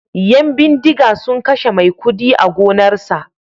Yan bindiga sun kashe maikudi a gonarsa